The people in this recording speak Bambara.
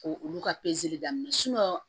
Ko olu ka pezeli daminɛ